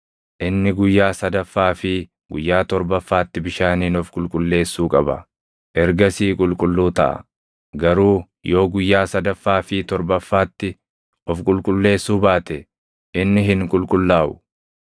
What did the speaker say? Inni guyyaa sadaffaa fi guyyaa torbaffaatti bishaaniin of qulqulleessuu qaba; ergasii qulqulluu taʼa. Garuu yoo guyyaa sadaffaa fi torbaffaatti of qulqulleessuu baate inni hin qulqullaaʼu.